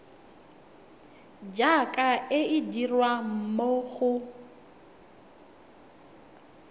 jaaka e dirwa mo go